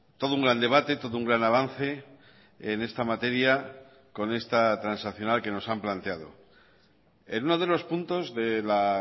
todo un gran debate todo un gran avance en esta materia con esta transaccional que nos han planteado en uno de los puntos de la